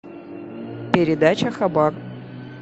передача хабар